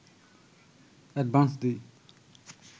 advance দিই